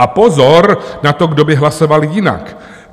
A pozor na to, kdo by hlasoval jinak.